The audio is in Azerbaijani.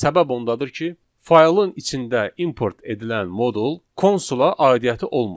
Səbəb ondadır ki, faylın içində import edilən modul konsula aidiyyatı olmur.